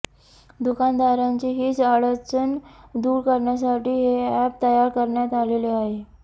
दुकानदारांची हिच अडचण दूर करण्यासाठी हे अॅप तयार करण्यात आलेले आहे